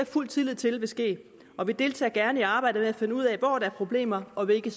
fuld tillid til vil ske og vi deltager gerne i arbejdet med at finde ud af hvor der er problemer og hvilke